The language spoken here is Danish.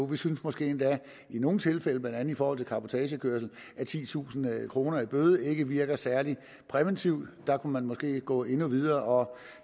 vi synes måske endda i nogle tilfælde blandt andet i forhold til cabotagekørsel at titusind kroner i bøde ikke virker særlig præventivt der kunne man måske gå endnu videre og